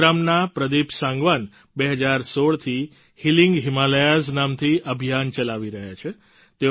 ગુરુગ્રામના પ્રદિપ સાંગવાન 2016થી healing Himalayas નામથી અભિયાન ચલાવી રહ્યા છે